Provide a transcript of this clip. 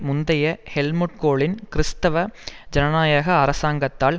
முந்தய ஹெல்முட் கோலின் கிறிஸ்தவ ஜனநாயக அரசாங்கத்தால்